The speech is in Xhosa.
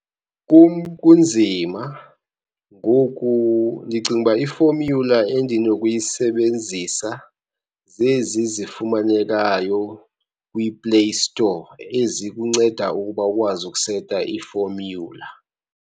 Kum kunzima, ngoku ndicinga uba i-formula endinokuyisebenzisa zezi zifumanekayo kwiPlay Store ezikunceda ukuba ukwazi ukuseta iformula.